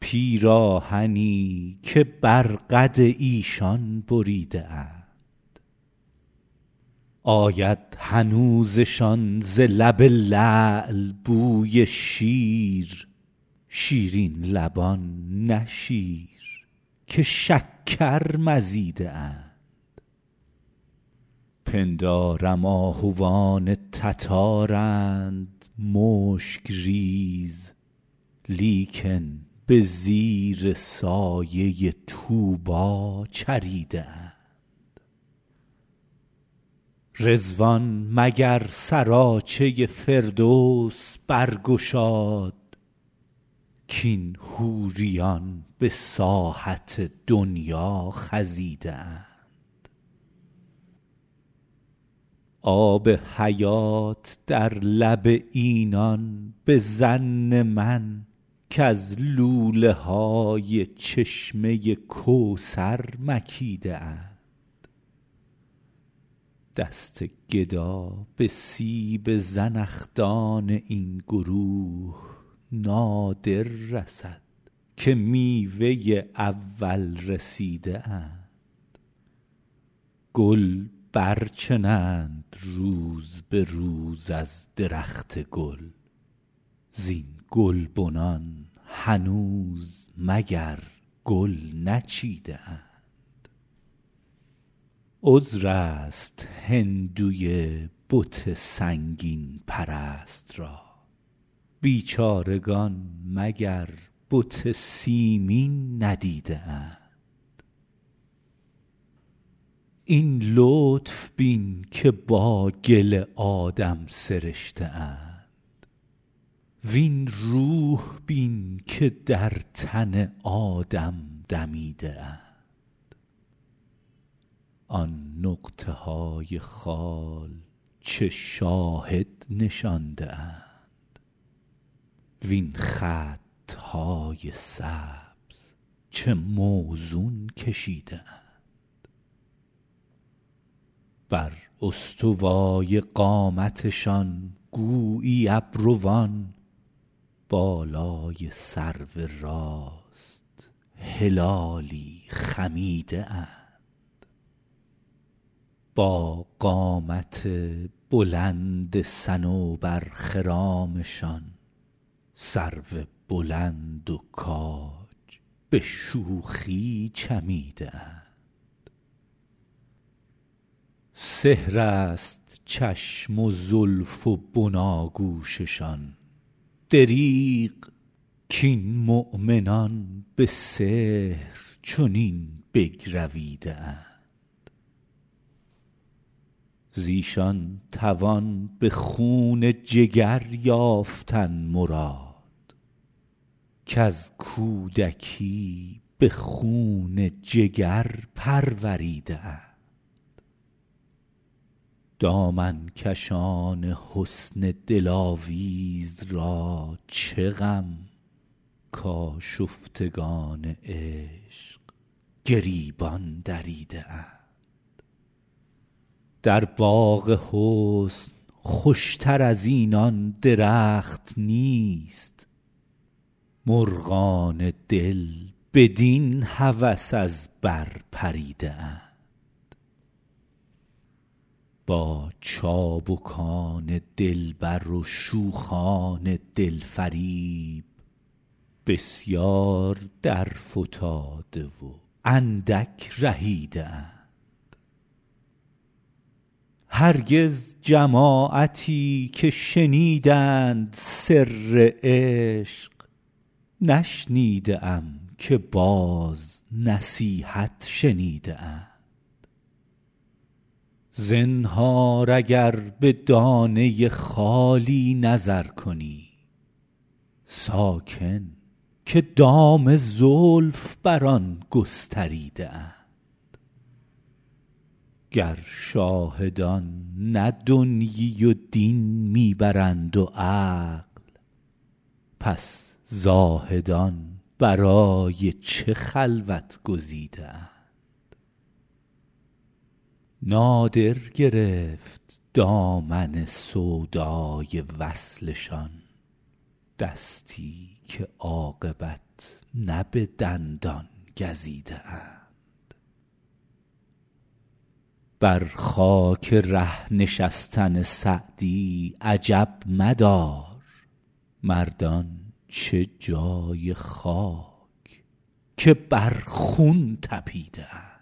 پیراهنی که بر قد ایشان بریده اند آید هنوزشان ز لب لعل بوی شیر شیرین لبان نه شیر که شکر مزیده اند پندارم آهوان تتارند مشک ریز لیکن به زیر سایه طوبی چریده اند رضوان مگر سراچه فردوس برگشاد کاین حوریان به ساحت دنیا خزیده اند آب حیات در لب اینان به ظن من کز لوله های چشمه کوثر مکیده اند دست گدا به سیب زنخدان این گروه نادر رسد که میوه اول رسیده اند گل برچنند روز به روز از درخت گل زین گلبنان هنوز مگر گل نچیده اند عذر است هندوی بت سنگین پرست را بیچارگان مگر بت سیمین ندیده اند این لطف بین که با گل آدم سرشته اند وین روح بین که در تن آدم دمیده اند آن نقطه های خال چه شاهد نشانده اند وین خط های سبز چه موزون کشیده اند بر استوای قامتشان گویی ابروان بالای سرو راست هلالی خمیده اند با قامت بلند صنوبرخرامشان سرو بلند و کاج به شوخی چمیده اند سحر است چشم و زلف و بناگوششان دریغ کاین مؤمنان به سحر چنین بگرویده اند ز ایشان توان به خون جگر یافتن مراد کز کودکی به خون جگر پروریده اند دامن کشان حسن دلاویز را چه غم کآشفتگان عشق گریبان دریده اند در باغ حسن خوش تر از اینان درخت نیست مرغان دل بدین هوس از بر پریده اند با چابکان دلبر و شوخان دل فریب بسیار درفتاده و اندک رهیده اند هرگز جماعتی که شنیدند سر عشق نشنیده ام که باز نصیحت شنیده اند زنهار اگر به دانه خالی نظر کنی ساکن که دام زلف بر آن گستریده اند گر شاهدان نه دنیی و دین می برند و عقل پس زاهدان برای چه خلوت گزیده اند نادر گرفت دامن سودای وصلشان دستی که عاقبت نه به دندان گزیده اند بر خاک ره نشستن سعدی عجب مدار مردان چه جای خاک که بر خون طپیده اند